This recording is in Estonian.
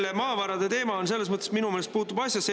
See maavarade teema minu meelest puutub asjasse.